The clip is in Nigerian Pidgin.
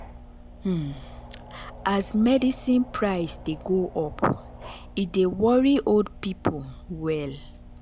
um as medicine price dey go up e dey worry old people well.